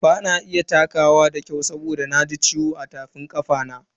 Bana iya takawa da kyau saboda na ji ciwo a tafin kafana.